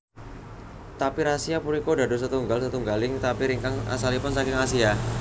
Tapir Asia punika dados setunggal setunggaling tapir ingkang asalipun saking Asia